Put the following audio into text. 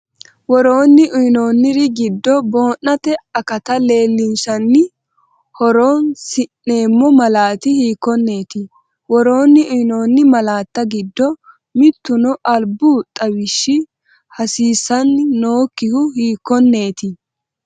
Woroonni uyinoonniri giddo boo’nate akata leelinshanni horoon- si’neemmo malaati hiikkonneeti? Woroonni uyinoonni malaatta giddo mittuno albu xawishshi hasiisan- nokkihu hiikkonneeti?